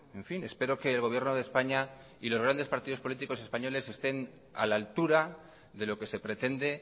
en fin espero que el gobierno de españa y los grandes partidos políticos españoles estén a la altura de lo que se pretende